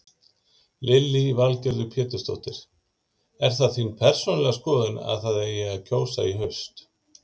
Lillý Valgerður Pétursdóttir: Er það þín persónulega skoðun að það eigi að kjósa í haust?